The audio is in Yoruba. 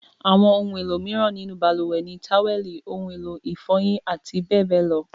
Àwọn ohun-èlò mìíràn nínú balùwẹ̀ ni; tówẹ́lì, ohun-èlò ìfọyín àti bẹ́ẹ̀ bẹ́ẹ̀ lọ.